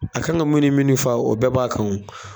A kan ka munni minni fa o bɛɛ b'a kan o